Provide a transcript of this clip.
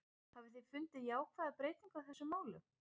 Hafiði fundið jákvæða breytingu á þessum málum?